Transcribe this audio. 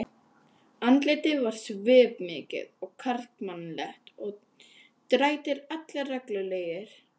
Andlitið var svipmikið og karlmannlegt og drættir allir reglulegir.